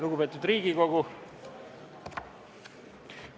Lugupeetud Riigikogu!